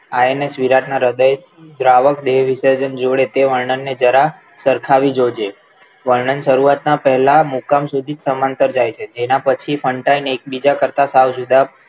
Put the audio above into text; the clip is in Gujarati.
હાય ને સુરતના હૃદય દ્રાવક વિસર્જન જોડે તે વર્ણનને જરા સરખાવી જોજે વર્ણન શરૂઆતના પહેલા મુકામ સુધી સમાંતર જાય છે જેના પછી ફંટાઈને એકબીજા કરતા સાવ જુદા